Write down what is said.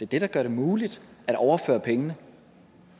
det der gør det muligt at overføre pengene